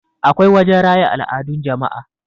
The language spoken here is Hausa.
akwai wajen raya al'adun jama'a